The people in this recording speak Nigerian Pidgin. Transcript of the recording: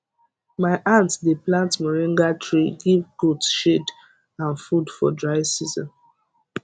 my aunt dey plant moringa tree give goat shade and food for dry season